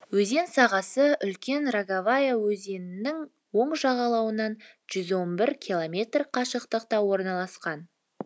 өзен сағасы үлкен роговая өзенінің оң жағалауынан жүз он бір километр қашықтықта орналасқан